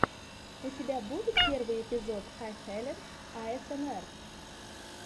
у тебя будет первый эпизод хэйхелен аэсэмэр